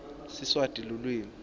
siswati lulwimi